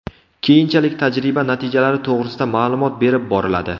Keyinchalik tajriba natijalari to‘g‘risida ma’lumot berib boriladi.